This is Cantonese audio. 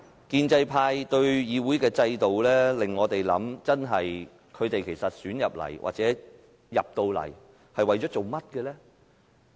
建制派提出對議會制度的修訂，真的會令我們思考，其實他們進入議會是為了甚麼呢？